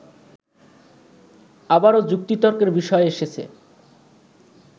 আবারও যুক্তিতর্কের বিষয় এসেছে